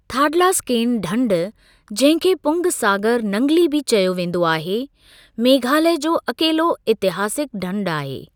थाडलास्केन ढंढ जंहिं खे पुंग सागर नंगली बि चयो वेंदो आहे, मेघालय जो अकेलो इतिहासिक ढंढ आहे।